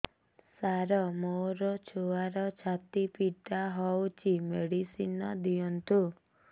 ସାର ମୋର ଛୁଆର ଛାତି ପୀଡା ହଉଚି ମେଡିସିନ ଦିଅନ୍ତୁ